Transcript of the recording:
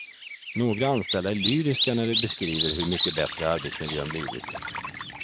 Några anställda är lyriska när de beskriver hur mycket bättre arbetsmiljön blivit.